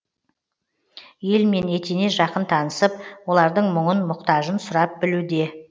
елмен етене жақын танысып олардың мұңын мұқтажын сұрап білуде